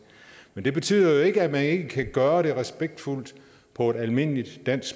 men det betyder jo ikke at man ikke kan gøre det respektfuldt på almindeligt dansk